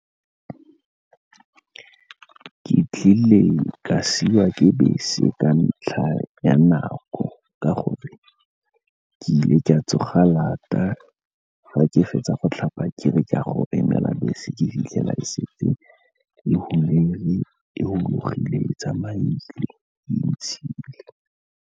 Ke tlile ka siwa ke bese ka ntlha ya nako ka gore ke ile ke a tsoga lata. Fa ke fetsa go tlhapa ke re ke a go emela bese, ke fitlhela e setse e e tsamaile, e ntshile.